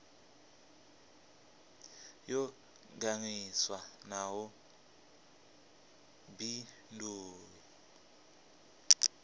yo ganḓiswa na u baindiwa